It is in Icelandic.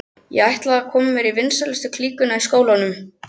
Ég ætlaði mér að komast í vinsælustu klíkuna í skólanum.